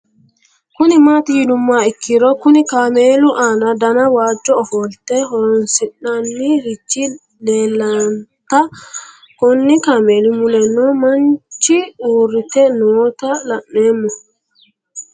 Kuni mati yinumoha ikiro Kuni kaamelu aana dana wajo ofolate horonsinani rich leelanta Koni kameli muleno manchi uurite noota la'nemo